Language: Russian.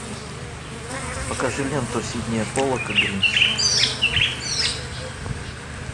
покажи ленту сиднея поллока гринч